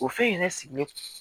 O fɛn in yɛrɛ sigilen